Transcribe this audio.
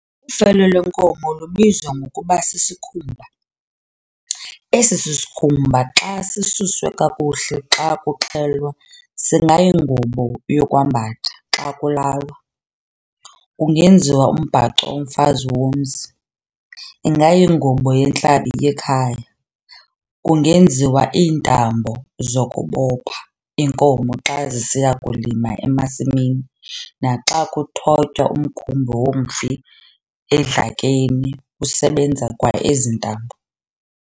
Ufele lwenkomo lubizwa ngokuba sisikhumba, esi sikhumba xa sisuswe kakuhle xa kuxhelwa singayingubo yokwambatha- xa kulalwa, kungenziwa umbhaco womfazi womzi, ingayingubo yentlabi yekhaya, kungeziwa iintambo zokubopha iinkomo xa zisiya kulima emasimini naxa kuthotywa umkhumbi womfi edlakeni kusebenza kwa ezi ntambo.